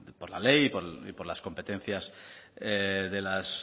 por la ley y por las competencias de las